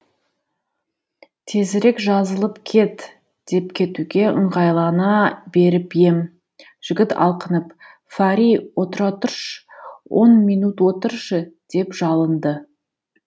тезірек жазылып кет деп кетуге ыңғайлана беріп ем жігіт алқынып фари отыра тұршы он минут отыршы деп жалынды